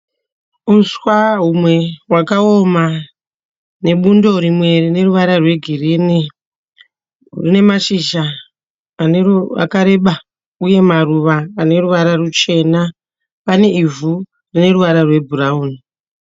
Uswa humwe hwakaoma nebundo rimwe rineruvara rwegirinhi. Rine mashizha akareba uye maruva aneruvara rwuchena. Pane ivhu rineruvara rwebhurawuni.